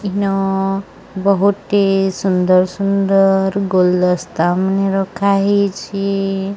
ଇନ ବହୁତି ସୁନ୍ଦର ସୁନ୍ଦର ଗୁଲଦସ୍ତା ମାନେ ରଖାହେଇଚି।